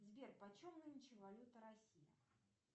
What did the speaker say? сбер по чем нынче валюта россии